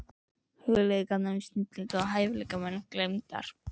Hugleiðingar um snillinga og hæfileikamenn gleymdar.